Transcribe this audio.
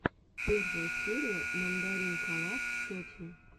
первая серия мандаринкалав сетин